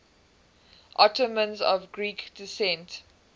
ottomans of greek descent